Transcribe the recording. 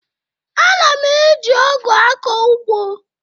Ana m eji ọgụ akọ ugbo